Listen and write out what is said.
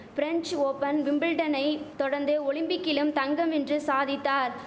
French Open விம்பிள்டனை தொடர்ந்து ஒலிம்பிக்கிலும் தங்கம் வென்று சாதித்தார்